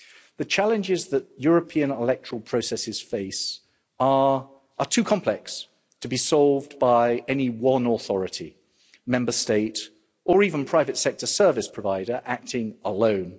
The challenges that European electoral processes face are too complex to be solved by any one authority, Member State or even private sector service provider acting alone.